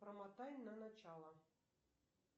промотай на начало